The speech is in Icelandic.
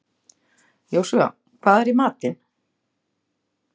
Jósúa, hvað er í matinn?